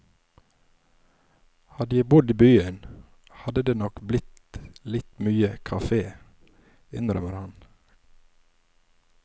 Hadde jeg bodd i byen, hadde det nok blitt litt mye kafé, innrømmer han.